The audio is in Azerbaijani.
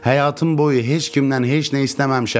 Həyatım boyu heç kimdən heç nə istəməmişəm.